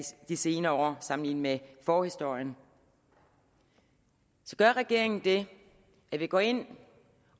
de senere år sammenlignet med forhistorien så gør regeringen det at vi går ind